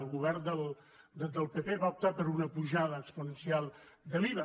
el govern del pp va optar per una apujada exponencial de l’iva